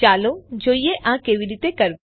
ચાલો જોઈએ આ કેવી રીતે કરવું